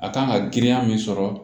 A kan ka girinya min sɔrɔ